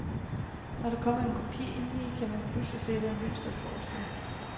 Når der kommer en krop indeni, kan man pludselig se, hvad mønsteret forestiller.